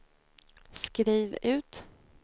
skriv ut